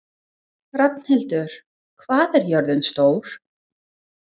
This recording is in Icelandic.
Rafnhildur, hvað er jörðin stór?